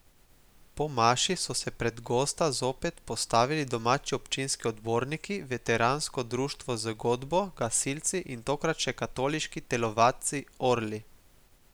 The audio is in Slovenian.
Po maši so se pred gosta zopet postavili domači občinski odborniki, veteransko društvo z godbo, gasilci in tokrat še katoliški telovadci Orli.